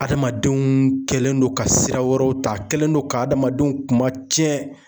Adamadenw kɛlen don ka sira wɛrɛw ta a kɛlen do ka hadamadenw kuma tiɲɛ.